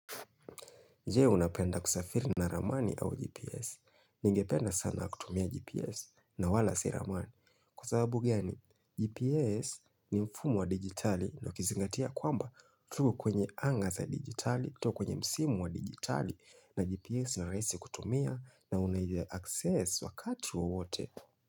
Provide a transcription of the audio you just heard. Nje unapenda kusafiri na ramani au GPS. Ningependa sana kutumia GPS na wala si ramani. Kwa sababu gani, GPS ni mfumo wa digitali na ukizingatia kwamba tuko kwenye anga za digitali kutoka kwenye msimu wa digitali na GPS ni rahisi kutumia na unai access wakati wowote.